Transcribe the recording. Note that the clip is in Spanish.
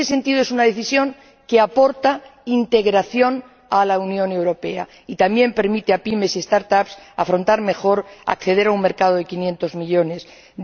Y en ese sentido, es una decisión que aporta integración a la Unión Europea y también permite a pymes y a start up afrontar mejor y acceder a un mercado de quinientos millones de personas.